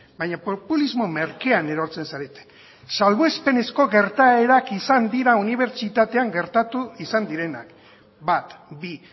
baina populismo merkean erortzen zarete salbuespenezko gertaerak izan dira unibertsitatean gertatu izan direnak bat bi